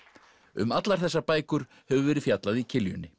um allar þessar bækur hefur verið fjallað í